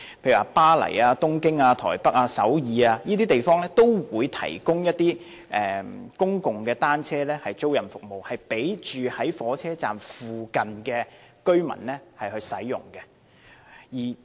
例如巴黎、東京、台北、首爾等地方，均提供公共單車租賃服務，供住在火車站附近的居民使用。